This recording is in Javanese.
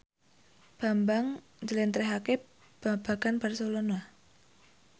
Bambang njlentrehake babagan Barcelona